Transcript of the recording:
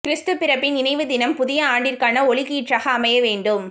கிறிஸ்து பிறப்பின் நினைவு தினம் புதிய ஆண்டிற்கான ஒளிக்கீற்றாக அமைய வேண்டும்